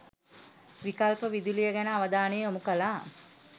විකල්ප විදුලිය ගැන අවධානය යොමු කළා.